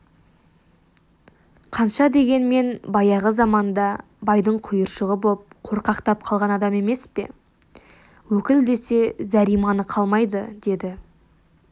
қанша дегенмен баяғы заманда байдың құйыршығы боп қорқақтап қалған адам емес пе өкіл десе зәр-иманы қалмайды деді